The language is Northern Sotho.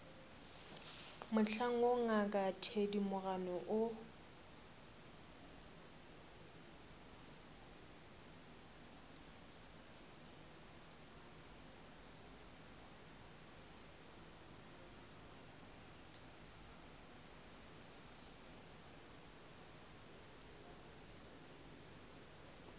mohlang woo ngaka thedimogane o